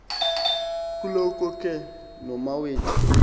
kuloko ke nomawethu